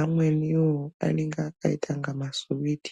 Amweniwo anenge akaita inga masiwiti.